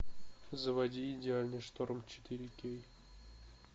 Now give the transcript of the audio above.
заводи идеальный шторм четыре кей